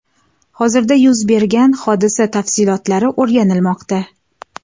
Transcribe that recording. Hozirda yuz bergan hodisa tafsilotlari o‘rganilmoqda.